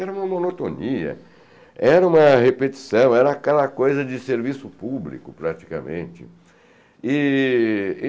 Era uma monotonia, era uma repetição, era aquela coisa de serviço público, praticamente. E